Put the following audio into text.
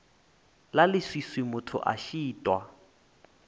la leswiswi motho a šitwa